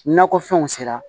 Nakɔfɛnw sera